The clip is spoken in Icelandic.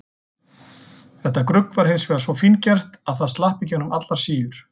Þetta grugg var hins vegar svo fíngert að það slapp í gegnum allar síur.